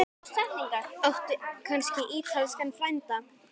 Áttu kannski ítalskan frænda?